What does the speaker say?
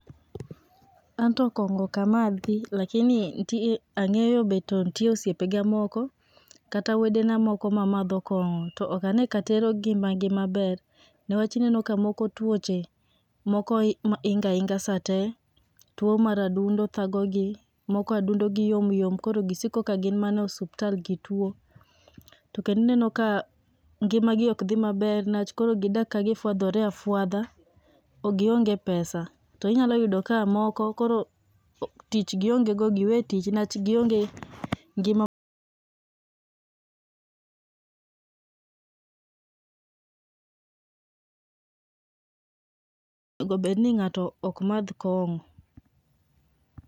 Anto kong'o okamadhi [cs[lakini nt ang'eyo be to ntie osipega moko, kata wedena moko mamadho kong'o, to okanee ka tero gimagi maber, newach ineno ka moko, twoche mokoi ingainga sate two mar adundo thagogi, moko adundo gi yomyom koro gisiko ka gin mana osuptal gitwo. To kendineno ka ngima gi okdhi maber newach koro gidak ka gifwadhore afwadha, ogionge pesa, to inyalo ka moko koro o tich gionge go, giwetich nwach gionge ngima nego bed ni ng'ato okmadh kong'o.